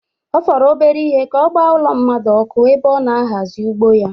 Ọ fọrọ obere ihe ka ọ gbaa ụlọ mmadụ ọkụ ebe ọ na-ahazi ugbo ya